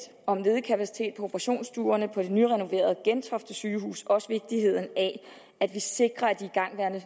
om ledig kapacitet på operationsstuerne på det nyrenoverede gentofte sygehus også vigtigheden af at vi sikrer at igangværende